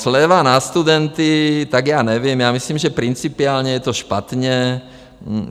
Sleva na studenty, tak já nevím, já myslím, že principiálně je to špatně.